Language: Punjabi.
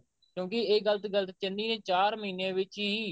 ਕਿਉਂਕਿ ਇਹ ਗਲਤ ਗੱਲ ਚੰਨੀ ਚਾਰ ਮਹੀਨੇ ਵਿੱਚ ਹੀ